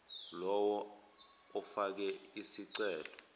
lowo ofake isicelo